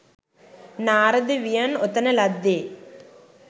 නාරද වියන් ඔතන ලද්දේ